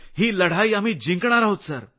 ही लढाई आम्ही जिंकणार आहोत